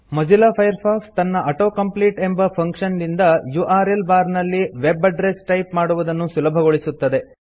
Mozilla Firefox ತನ್ನ auto complete ಎಂಬ function ನಿಂದ ಯುಆರ್ಎಲ್ ಬಾರ್ ನಲ್ಲಿ ವೆಬ್ ಅಡ್ರಸ್ ಟೈಪ್ ಮಾಡುವುದನ್ನು ಸುಲಭಗೊಳಿಸುತ್ತದೆ